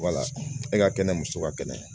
e ka kɛnɛ muso ka kɛnɛ